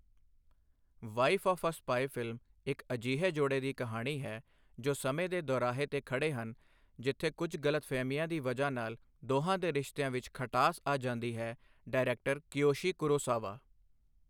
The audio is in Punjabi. Wife of a spy film ਇੱਕ ਅਜਿਹੇ ਜੋੜੇ ਦੀ ਕਹਾਣੀ ਹੈ, ਜੋ ਸਮੇਂ ਦੇ ਦੌਰਾਹੇ ਤੇ ਖੜ੍ਹੇ ਹਨ, ਜਿੱਥੇ ਕੁਝ ਗਲਤਫਹਿਮੀਆਂ ਦੀ ਵਜ੍ਹਾ ਨਾਲ ਦੋਹਾਂ ਦੇ ਰਿਸ਼ਤਿਆਂ ਵਿੱਚ ਖਟਾਸ ਆ ਜਾਂਦੀ ਹੈ, ਡਾਇਰੈਕਟਰ ਕਿਯੋਸ਼ੀ ਕੁਰੋਸਾਵਾ।